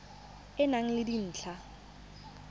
e e nang le dintlha